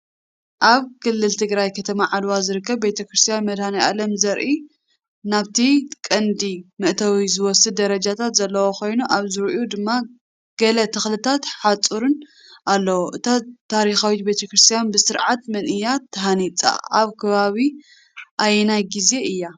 ኣብ ክልል ትግራይ ከተማ ዓድዋ ዝርከብ ቤተክርስትያን መድሃኔኣለም የርኢ። ናብቲ ቀንዲ መእተዊ ዝወስድ ደረጃታት ዘለዎ ኮይኑ፡ ኣብ ዙርያኡ ድማ ገለ ተኽልታትን ሓጹርን ኣለዎ። እዛ ታሪኻዊት ቤተ ክርስቲያን ብስርዓት መን እያ ተሃኒጻ ኣብ ከባቢ ኣየናይ ግዜን እያ?